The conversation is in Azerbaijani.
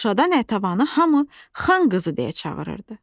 Şuşada Natəvanı hamı xan qızı deyə çağırırdı.